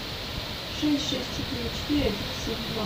шесть шесть четыре четыре один семь два